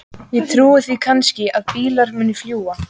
Ég trúi því kannski að bílar muni fljúga.